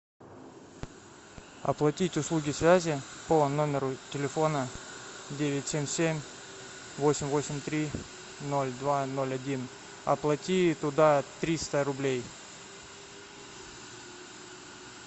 оплатить услуги связи по номеру телефона девять семь семь восемь восемь три ноль два ноль один оплати туда триста рублей